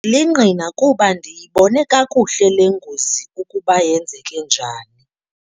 lingqina kuba ndiyibone kakuhle le ngozi ukuba yenzeke njani.